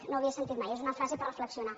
no ho havia sentit mai és una frase per reflexionar